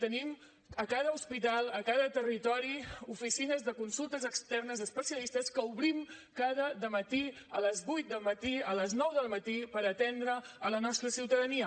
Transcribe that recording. tenim a cada hospital a cada territori oficines de consultes externes especialistes que obrim cada de matí a les vuit del matí a les nou del matí per atendre la nostra ciutadania